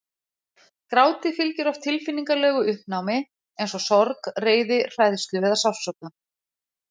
Gráti fylgir oft tilfinningalegu uppnámi eins og sorg, reiði, hræðslu eða sársauka.